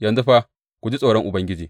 Yanzu fa ku ji tsoron Ubangiji.